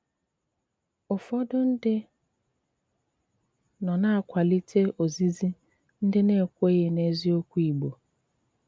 Úfọdụ́ ndí nọ́ ná-àkwálítè ózízí ndí ná-ékwèghí n’ézíòkwù Ìgbò